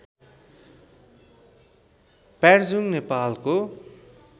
प्यार्जुङ नेपालको